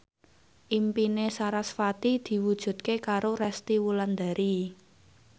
impine sarasvati diwujudke karo Resty Wulandari